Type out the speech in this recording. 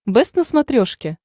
бэст на смотрешке